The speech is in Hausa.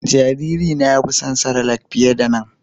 Jariri na ya fi son cerelac fiƴe da nan